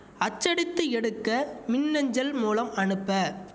அச்சடித்து எடுக்க மின் அஞ்சல் மூலம் அனுப்ப